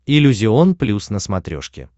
иллюзион плюс на смотрешке